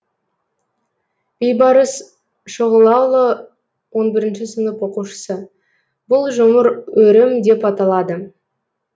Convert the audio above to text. бейбарыс шұғылаұлы он бірінші сынып оқушысы бұл жұмыр өрім деп аталады